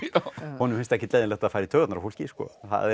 honum finnst ekkert leiðinlegt að fara í taugarnar á fólki það er